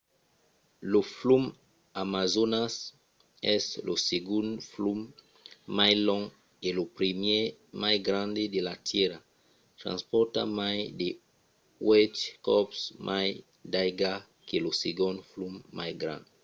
lo flum amazonas es lo segond flum mai long e lo primièr mai grand de la tèrra. transpòrta mai de uèch còps mai d'aiga que lo segond flum mai grand